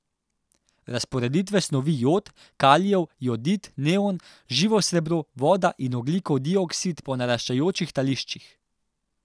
Razporedite snovi jod, kalijev jodid, neon, živo srebro, voda in ogljikov dioksid po naraščajočih tališčih.